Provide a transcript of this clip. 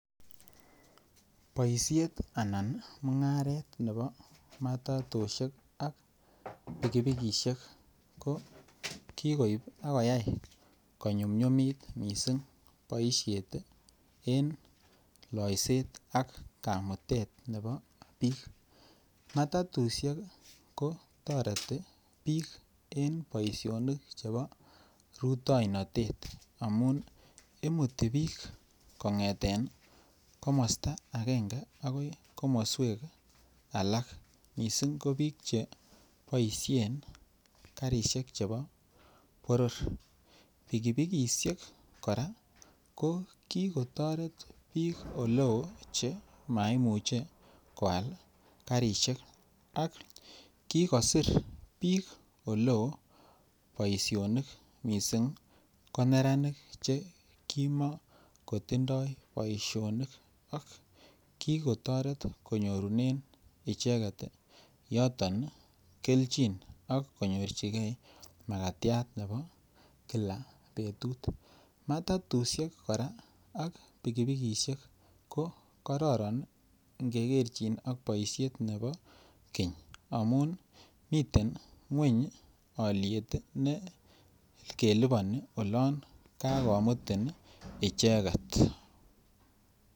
Boisiet Anan mungaret nebo matatusiek ak pikipikisiek ko koib ak koyai konyumnyumit mising boisiet en loisetak kamutet nebo bik matatusiek oo toreti bik en boisionik chebo rutainat. Amun imuti bik kongeten komosta agenge agoi komoswek alak kiboisien karisiek chebo boror pikipikisiek kora ko ki kotoret bik Oleo Che maimuche koal karisiek ak kigosir bik oleo boisionik soiti ko neranik Che ki kotoret kinyorunen yoto keljin ak konyorchigei makatiat nebo kila betut matatusiek kora ak pikipikisiek ko kororon angekerchin ak boisiet chekibo keny amun miten alyet keliboni olon kaimutin icheget